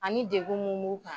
Ani degun mun b'u kan.